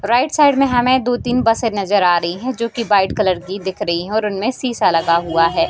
Right side में हमें दो-तीन बसे नजर आ रही हैं जो की वाइट कलर की देख रही है और उनमें शीशा लगा हुआ है।